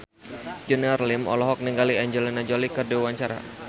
Junior Liem olohok ningali Angelina Jolie keur diwawancara